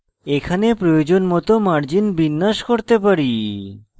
এখানে প্রয়োজন মত margins বিন্যাস করতে পারি